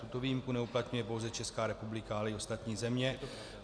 Tuto výjimku neuplatňuje pouze Česká republika, ale i ostatní země.